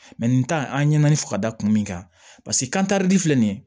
nin tan an ye ɲani fo ka da kun min kan paseke kan kari di filɛ nin ye